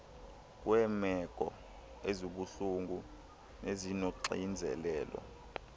kweemeko ezibuhlungu nezinoxinzelelo